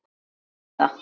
Og kemst upp með það!